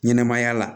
Ɲɛnɛmaya la